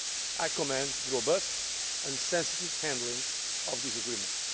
I commend the robust and sensitive handling of this agreement.